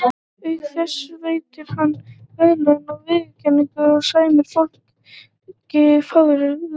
Auk þess veitir hann verðlaun og viðurkenningar og sæmir fólk fálkaorðunni.